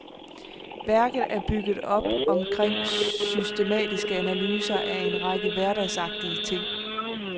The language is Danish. Værket er bygget op omkring systematiske analyser af en række hverdagsagtige ting.